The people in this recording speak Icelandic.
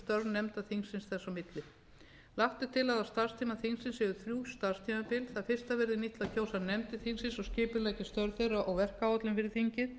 nefnda þingsins þess á milli lagt er til að á starfstíma þingsins séu þrjú starfstímabil það fyrsta verði nýtt til að kjósa nefndir þingsins og skipuleggja störf þeirra og verkáætlun fyrir þingið